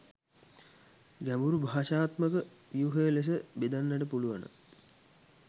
ගැඹුරු භාෂාත්මක ව්‍යුහය ලෙස බෙදන්නට පුළුවන